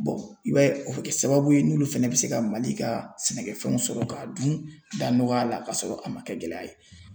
i b'a ye o bɛ kɛ sababu ye n'olu fɛnɛ bɛ se ka Mali ka sɛnɛkɛfɛnw sɔrɔ k'a dun da nɔgɔya la ka sɔrɔ a ma kɛ gɛlɛya ye .